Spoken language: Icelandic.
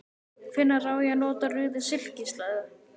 Hvenær á ég að nota rauða silkislæðu?